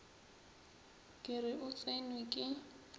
ke re o tsenwe ke